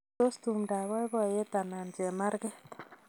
Tos tumdo ab boiboyet anan chemarget